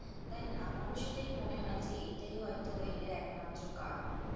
তাইনা আমার ও সেটাই মনে হয় যে এটাই হয়তো এদের একমাত্র কারণ ।